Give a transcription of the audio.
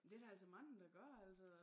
Det der altså mange der gør altså